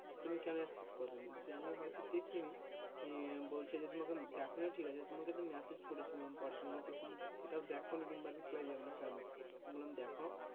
তুমি কেনো accept করো নি, আমি হয়তো দেখি নি বলছে যে তোমাকে দেখো নি ঠিক আছে তোমাকে তো message করেছিলাম, personally তুমি তো সেটাও দেখো নি বা reply দোও নিকেনো, তো বললাম দেখো,